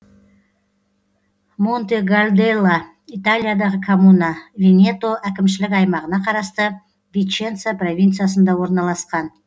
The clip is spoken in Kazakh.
монтегальделла италиядағы коммуна венето әкімшілік аймағына қарасты виченца провинциясында орналасқан